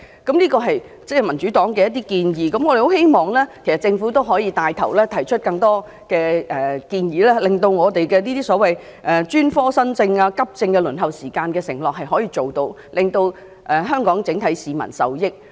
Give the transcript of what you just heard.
這些是民主黨的建議，我們希望政府能帶頭提出更多建議，以兌現對專科新症及急症的輪候時間的承諾，令全港市民受益。